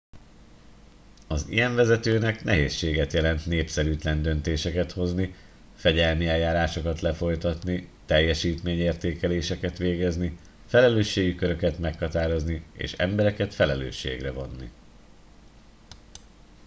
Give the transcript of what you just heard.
az ilyen vezetőnek nehézséget jelent népszerűtlen döntéseket hozni fegyelmi eljárásokat lefolytatni teljesítmény értékeléseket végezni felelősségi köröket meghatározni és embereket felelősségre vonni